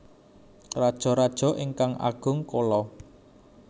Rajaraja ingkang Agung Chola